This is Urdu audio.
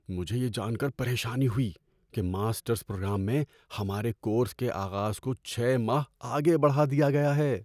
‏مجھے یہ جان کر پریشانی ہوئی کہ ماسٹرز پروگرام میں ہمارے کورس کے آغاز کو چھے ماہ آگے بڑھا دیا گیا ہے‏۔